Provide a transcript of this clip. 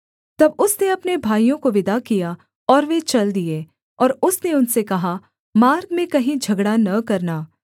तब उसने अपने भाइयों को विदा किया और वे चल दिए और उसने उनसे कहा मार्ग में कहीं झगड़ा न करना